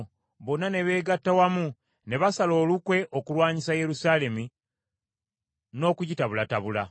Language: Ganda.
Bonna ne beegatta wamu ne basala olukwe okulwanyisa Yerusaalemi n’okugitabulatabula.